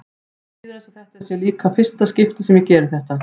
Mér líður eins og þetta sé líka í fyrsta skipti sem ég geri þetta.